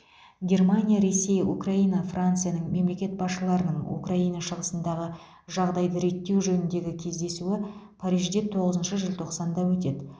германия ресей украина францияның мемлекет басшыларының украина шығысындағы жағдайды реттеу жөніндегі кездесуі парижде тоғызыншы желтоқсанда өтеді